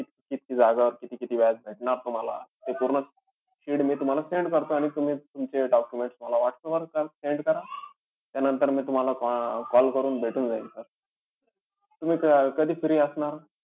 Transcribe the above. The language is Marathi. किती जागेवर किती-किती व्याज भेटणार तुम्हाला ते पूर्ण sheet मी तुम्हाला send करतो. आणि तुम्ही तुमचे documents मला whatsapp वर send करा. त्यानंतर मी तुम्हाला अं call करून भेटून जाईल sir. तुम्ही कधी free असणार?